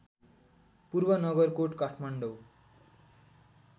पूर्व नगरकोट काठमाडौँ